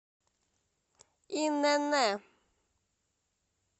инн